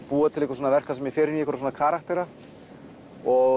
búa til verk þar sem ég fer inn í einhverja karaktera og